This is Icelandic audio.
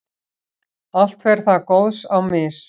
allt fer þar góðs á mis.